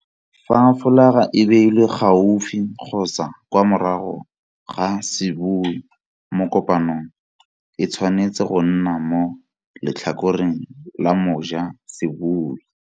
Fa folaga e beilwe gaufi kgotsa kwa morago ga sebui mo kopanong, e tshwanetse go nna mo letlhakoreng la moja la sebui.